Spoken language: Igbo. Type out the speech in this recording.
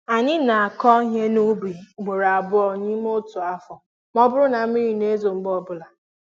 Anyị n'akụ ihe n'ubi ugboro abụọ n'ime otu afọ ma ọ bụrụ na mmiri n'ezo mgbe ọbụla